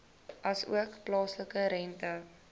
asook plaaslike rente